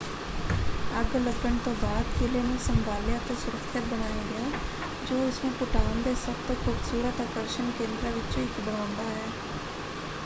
ਅੱਗ ਲੱਗਣ ਤੋਂ ਬਾਅਦ ਕਿਲ੍ਹੇ ਨੂੰ ਸੰਭਾਲਿਆ ਅਤੇ ਸੁਰੱਖਿਅਤ ਬਣਾਇਆ ਗਿਆ ਜੋ ਇਸਨੂੰ ਭੂਟਾਨ ਦੇ ਸਭ ਤੋਂ ਖੂਬਸੂਰਤ ਆਕਰਸ਼ਣ ਕੇਂਦਰਾਂ ਵਿੱਚੋਂ ਇੱਕ ਬਣਾਉਂਦਾ ਹੈ।